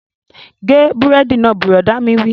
Gé búrẹ́dì náà! Bùrọ̀dá mi wí